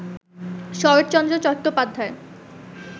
Saratchandra Chattopadhyay